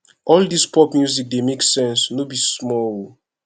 all this pop music dey make sense no be small o